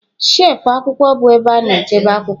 Shelfụ akwụkwọ bụ ebe a na-echekwa akwụkwọ.